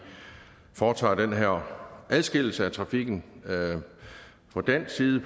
foretager den her adskillelse af trafikken på dansk side